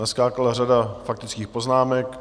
Naskákala řada faktických poznámek.